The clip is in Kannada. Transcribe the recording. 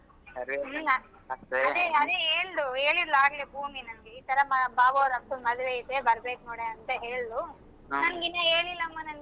ಅದೆ ಅದೆ~ ಹೇಳ್ದು ಹೇಳಿದ್ಲು ಅಗ್ಲೆ ಭೂಮಿ ನನ್ಗೆ ಇತರಾ ಬಾ~ ಬಾಬು ಅವ್ರ ಅಕ್ಕನ ಮದ್ವೆ ಇದೆ ಬರಬೇಕ್ ನೋಡೆ ಅಂತ ಹೇಳಿದ್ಲು ನನ್ಗೆ ಇನ್ನಾ ಹೇಳಿಲ್ಲಮ್ಮ ನನ್ಗೆ.